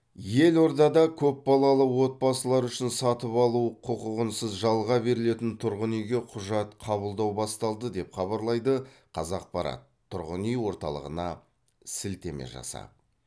елордада көпбалалы отбасылар үшін сатып алу құқығынсыз жалға берілетін тұрғын үйге құжат қабылдау басталды деп хабарлайды қазақпарат тұрғын үй орталығына сілтеме жасап